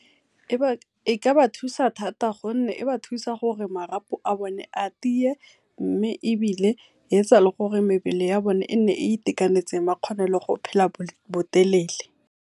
E ka ba thusa thata gonne e ba thusa gore marapo a bone a tiye mme ebile yetsa gore mebele ya bone e nne e itakanetse ba kgone le go phela botelele.